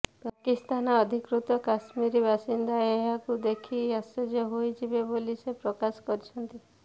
ପାକିସ୍ତାନ ଅଧିକୃତ କାଶ୍ମୀର ବାସିନ୍ଦା ଏହାକୁ ଦେଖି ଆଶ୍ଚର୍ଯ୍ୟ ହୋଇଯିବେ ବୋଲି ସେ ପ୍ରକାଶ କରିଛନ୍ତି